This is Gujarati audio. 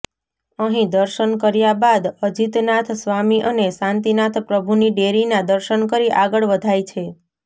અહિ દર્શન કર્યા બાદ અજીતનાથ સ્વામી અને શાંતિનાથ પ્રભુની દેરીના દર્શન કરી આગળ વધાય છે